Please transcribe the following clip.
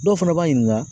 Dɔw fana b'a ɲininka